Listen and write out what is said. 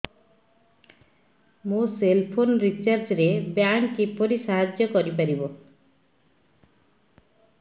ମୋ cell phone recharge ରେ bank କିପରି ସାହାଯ୍ୟ କରିପାରିବ